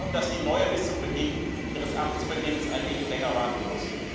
Es geht nur darum, dass die neue bis zum Beginn ihres Amtsantritts ein wenig länger warten muss.